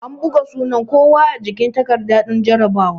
An buga sunan kowa a jikin takarda din jarabawa